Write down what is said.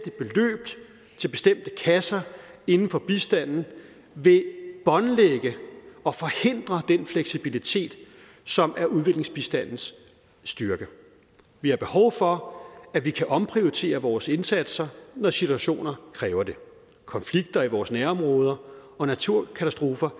kasser inden for bistanden vil båndlægge og forhindre den fleksibilitet som er udviklingsbistandens styrke vi har behov for at vi kan omprioritere vores indsatser når situationer kræver det konflikter i vores nærområder og naturkatastrofer